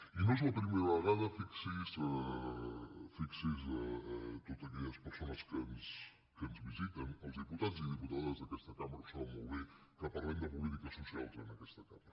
i no és la primera vegada fixi’s totes aquelles perso·nes que ens visiten els diputats i diputades d’aquesta cambra ho saben molt bé que parlem de politiques so·cials en aquesta cambra